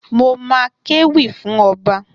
Mo ma kéwì fún ọba.